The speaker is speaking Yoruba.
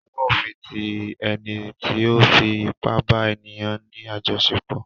Ọwó òfin ti ẹni tí ó fi ipá bá ènìyà ní àjọṣepọ̀.